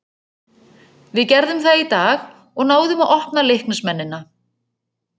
Við gerðum það í dag og náðum að opna Leiknismennina.